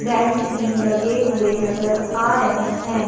Bench भी लगे हुए नजर आ रहे हैं।